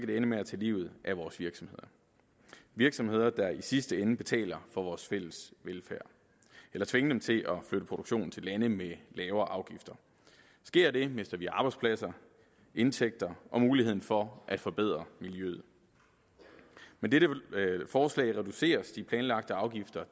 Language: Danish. det ende med at tage livet af vores virksomheder virksomheder der i sidste ende betaler for vores fælles velfærd eller tvinge dem til at flytte produktionen til lande med lavere afgifter sker det mister vi arbejdspladser indtægter og mulighed for at forbedre miljøet med dette forslag reduceres de planlagte afgifter